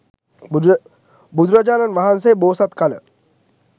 බුදුරජාණන් වහන්සේ බෝසත් කල